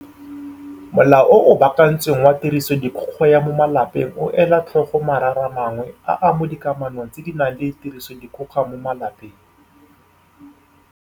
Molao o o Baakantsweng wa Tirisodikgoka ya mo Malapeng o ela tlhoko marara mangwe a a mo dikamanong tse di nang le tirisodikgoka mo malapeng.